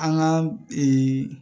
An ka